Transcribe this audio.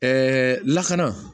Ɛɛ lakana